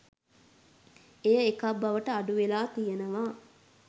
එය එකක් බවට අඩුවෙලා තියෙනවා